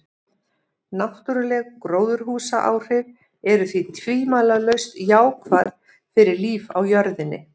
Náttúruleg gróðurhúsaáhrif eru því tvímælalaust jákvæð fyrir líf á jörðinni.